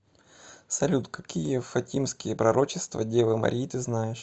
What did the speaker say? салют какие фатимские пророчества девы марии ты знаешь